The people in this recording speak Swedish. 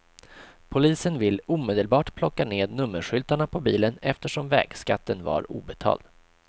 Polisen vill omedelbart plocka ned nummerskyltarna på bilen eftersom vägskatten var obetald.